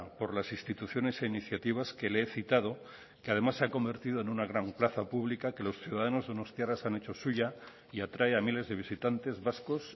por las instituciones e iniciativas que le he citado que además se ha convertido en una gran plaza pública que los ciudadanos donostiarras han hecho suya y atrae a miles de visitantes vascos